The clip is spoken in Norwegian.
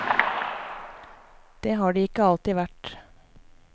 Det har de ikke alltid vært.